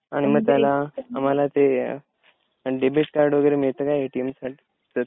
आणि मग त्याला आम्हाला ते डेबिट कार्ड वगैरे मिळतं का एटीएम कार्ड?